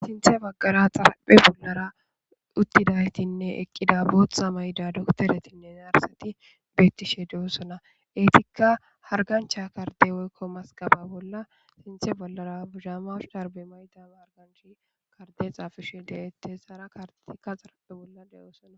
Sinthe baggara botha mayidi utida dokotereti betishe dosona ettika hariganicha karide woyi mazigaba bolla sinthe bolla mazigabeni adeyi xafishe detesi